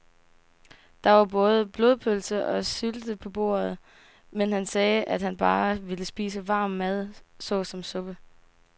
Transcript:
Der var både blodpølse og sylte på bordet, men han sagde, at han bare ville spise varm mad såsom suppe.